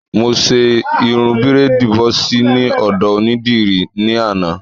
Mo ṣe irun bírèèdì bọ́ọ̀sì ní ọ̀dọ̀ onídìrí ní àná